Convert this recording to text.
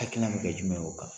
Hakilina bɛ kɛ jumɛn ye o kan